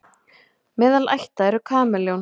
meðal ætta eru kameljón